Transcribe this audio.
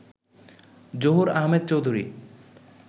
Zahur Ahmed Chowdhury